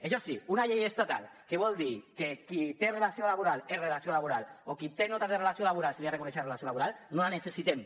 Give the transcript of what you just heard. això sí una llei estatal que vol dir que qui té relació laboral és relació laboral o a qui té notes de relació laboral se li ha de reconèixer relació laboral no la necessitem